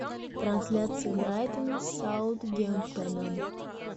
трансляция брайтон с саутгемптоном